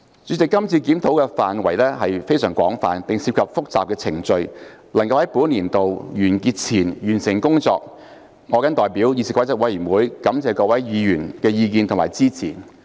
主席，這次檢討範圍非常廣泛，並涉及複雜的程序，能夠在本年度完結前完成工作，我謹代表議事規則委員會感謝各位議員的意見及支持。